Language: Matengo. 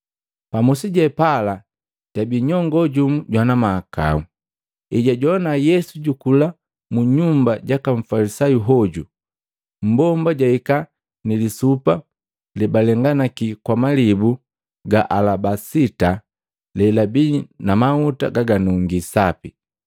Pa musi je pala jabii nyongo jumu jwana mahakau. Ejwajowana Yesu jukula mu nyumba jaka Mfalisayu hoju, mmbomba jahika nilisupa lebalenganaki kwa malibu ga alabasita lelabii na mahuta gaganungii sapi.